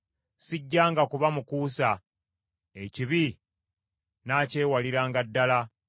Sijjanga kuba mukuusa; ekibi nnaakyewaliranga ddala.